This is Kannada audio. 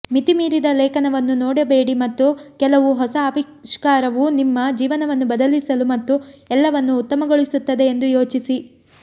ಮಿತಿಮೀರಿದ ಲೇಖನವನ್ನು ನೋಡಬೇಡಿ ಮತ್ತು ಕೆಲವು ಹೊಸ ಆವಿಷ್ಕಾರವು ನಿಮ್ಮ ಜೀವನವನ್ನು ಬದಲಿಸಲು ಮತ್ತು ಎಲ್ಲವನ್ನೂ ಉತ್ತಮಗೊಳಿಸುತ್ತದೆ ಎಂದು ಯೋಚಿಸಿ